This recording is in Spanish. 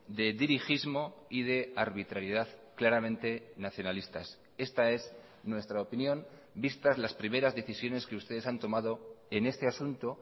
de dirigismo y de arbitrariedad claramente nacionalistas esta es nuestra opinión vistas las primeras decisiones que ustedes han tomado en este asunto